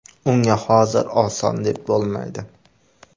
Unga hozir oson deb bo‘lmaydi.